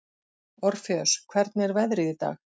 Orfeus, hvernig er veðrið í dag?